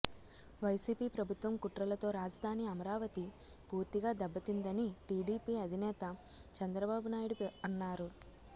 YCP ప్రభుత్వం కుట్రలతో రాజధాని అమరావతి పూర్తిగా దెబ్బతిందని టీడీపీ అధినేత చంద్రబాబు నాయుడు అన్నారు